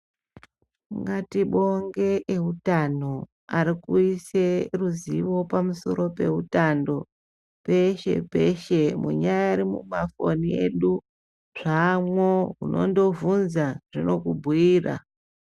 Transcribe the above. Ngatibonge eutano arikuise ruzivo pamusoro peutano peshe peshe munyari mumafoni edu zvaamo undongobvunza zvinokubhuyira.